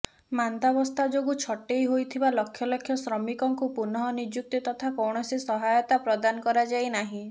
ମାନ୍ଦାବସ୍ଥା ଯୋଗୁଁ ଛଟେଇ ହୋଇଥିବା ଲକ୍ଷ ଲକ୍ଷ ଶ୍ରମିକଙ୍କୁ ପୁନଃନିଯୁକ୍ତି ତଥା କୌଣସି ସହାୟତା ପ୍ରଦାନ କରାଯାଇନାହିଁ